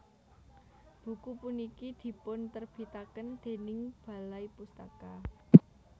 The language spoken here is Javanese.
Buku puniki dipunterbitaken déning Balai Pustaka